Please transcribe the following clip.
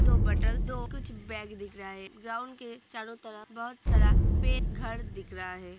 दो बटल कुछ बैग दिख रहा है| ग्राउंड के चारों तरफ बहुत सारा पेड़ घर दिख रहा है |